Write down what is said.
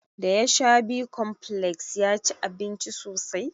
Da ya sha bicomplex ya ci abinci sosai.